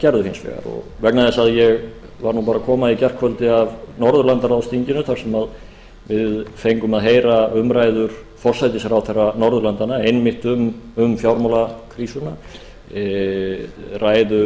gerðu hins vegar og vegna þess að ég var nú bara að koma í gærkvöldi af norðurlandsráðsþinginu þar sem við fengum að heyra umræður forsætisráðherra norðurlandanna einmitt um fjármálakrísuna ræðu